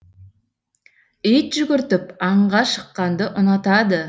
ит жүгіртіп аңға шыққанды ұнатады